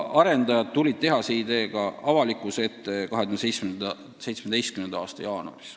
Arendajad tulid tehase ideega avalikkuse ette 2017. aasta jaanuaris.